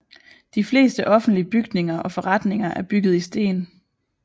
De fleste offentlige bygninger og forretninger er bygget i sten